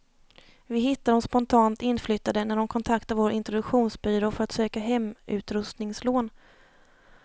Vi hittar de spontant inflyttade när de kontaktar vår introduktionsbyrå för att söka hemutrustningslån.